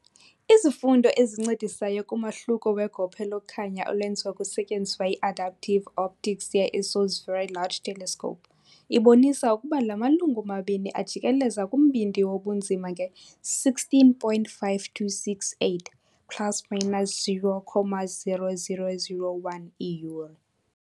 Izifundo ezincedisayo kumahluko wegophe lokukhanya olwenziwa kusetyenziswa i-adaptive optics ye -ESO 's Very Large Telescope ibonisa ukuba la malungu mabini ajikeleza kumbindi wobunzima nge-16.5268 ± 0.0001 iiyure.